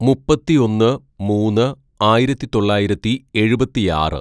"മുപ്പത്തിയൊന്ന് മൂന്ന് ആയിരത്തിതൊള്ളായിരത്തി എഴുപത്തിയാറ്‌